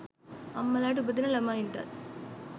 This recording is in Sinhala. අම්මලාට උපදින ළමයින්ටත්